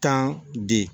Tan de